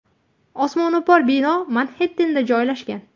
Osmono‘par bino Manxettenda joylashgan.